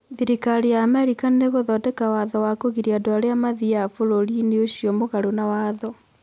Thirikari ya Amerika nĩgũthondeka watho wa kũgiria andũ arĩa mathiaga bũrũri-inĩ ũcio mũgaru na watho.